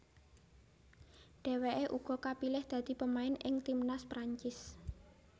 Dheweke uga kapilih dadi pemain ing timnas Perancis